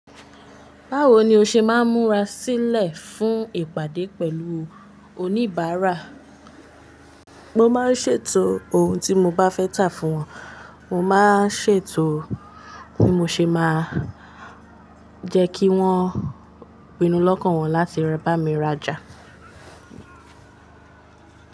Báwo ni o ṣe máa ń múra sílẹ̀ fún ìpàdé pẹ̀lú oníbàárà? Mo máa ń ṣètò ohun tí mo bá fẹ́ tà fún wọn, mo máa ń ṣètò bí mo ṣe máa jẹ́ kí wọ́n pinnu lọ́kàn wọn láti bá mi rájà.